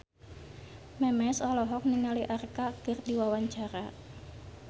Memes olohok ningali Arkarna keur diwawancara